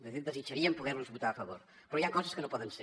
de fet desitjaríem poder los votar a favor però hi ha coses que no poden ser